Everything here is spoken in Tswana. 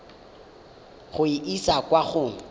go e isa kwa go